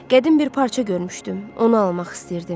Qədim bir parça görmüşdüm, onu almaq istəyirdim.